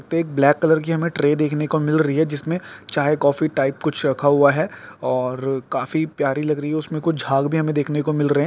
तो एक black colour की हमें ट्रे दिखने को मिल रही है जिसमें चाय कॉफी टाइप कुछ रखा हुआ है और काफी प्यारी लग रही है उसमें कुछ झाग भी हमें देखने को मिल रहें हैं।